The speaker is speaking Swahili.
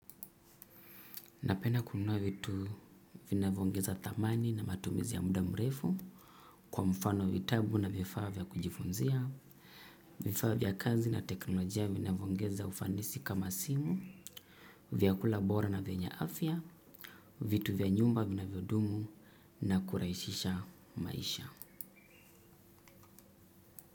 Napenda kununua vitu vinavyoongeza thamani na matumizi ya muda mrefu kwa mfano vitabu na vifaa vya kujifunzia, vifaa vya kazi na teknolojia vinavyoongeza ufanisi kama simu, vyakula bora na vyenya afya, vitu vya nyumba vinavyodumu na kurahisisha maisha.